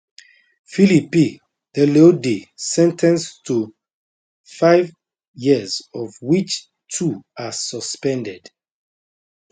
philippe leleudey sen ten ced to five years of which two are suspended